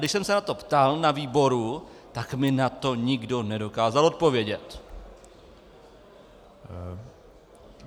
Když jsem se na to ptal na výboru, tak mi na to nikdo nedokázal odpovědět.